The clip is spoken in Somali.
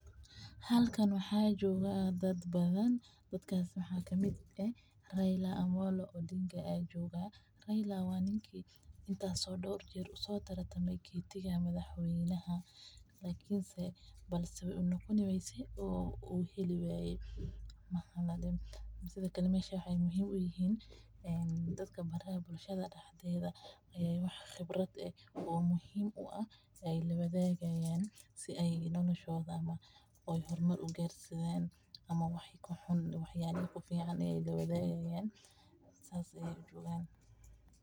Haalkan waxa jooga daad badhan, daadkas maxa kamid eeh Raila Omollo Odinga. Raila waa ninki in taas o door jaar uso tartame kitiga madhaxweynaha lakiin see balse way unogoni wayse oo heli waaye. Sidhe kaale meesha waxay muhiim u yihiin daadka baraha bulshada daxdedha waxa qibraad eeh oo muhiim u aah aay lawadhagayan si ay nooloshodha hoormar ugarsiyaan ama waxa kaxun ama wax yaala ficaan lawadagayan saas aya ujedha.